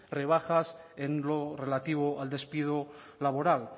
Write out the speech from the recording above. rebajas en lo relativo al despido laboral